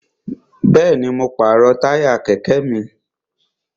Bẹ́ẹ̀ni, mo pàrọ̀ táyà kẹ̀kẹ́ mi